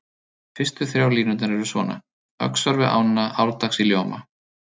Fyrstu þrjár línurnar eru svona: Öxar við ána árdags í ljóma